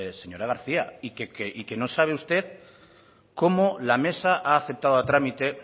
señora garcía y que no sabe usted cómo la mesa ha aceptado a trámite